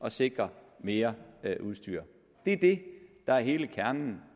at sikre mere udstyr det er det der er hele kernen